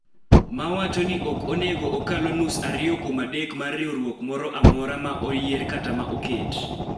Ma wacho ni ok onego okalo nus ariyo kuom adek mar riwruok moro amora ma oyier kata ma oket .